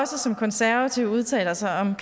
som konservativ udtaler sig om